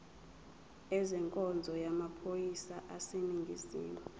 ezenkonzo yamaphoyisa aseningizimu